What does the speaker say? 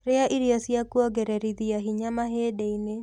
Rĩa irio cia kũongereritha hinya mahĩndĩ-inĩ